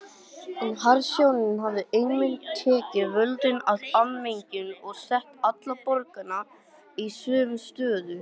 En harðstjórnin hafði einmitt tekið völdin af almenningi og sett alla borgara í sömu stöðu.